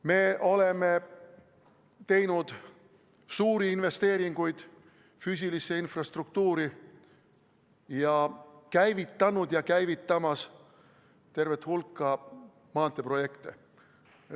Me oleme teinud suuri investeeringuid füüsilisse infrastruktuuri ja oleme käivitanud ja käivitamas tervet hulka maanteeprojekte.